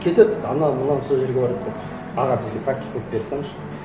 кетеді анау мынау сол жерге барады да аға бізге практика қойып бере салыңызшы